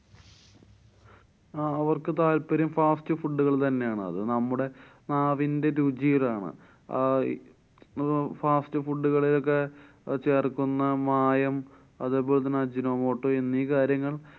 ആഹ് അവര്‍ക്ക് താല്‍പര്യം fast food കള്‍ തന്നെയാണ്. അത് നമ്മുടെ നാവിന്‍ടെ രുചിയിലാണ്. അഹ് ഇപ്പൊ fast food കള് ഒക്കെ ചേര്‍ക്കുന്ന മായം അതേപോലെ ajinomoto എന്നീ കാര്യങ്ങള്‍